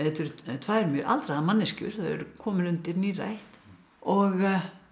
tvær mjög aldraðar manneskjur þau eru komin undir nírætt og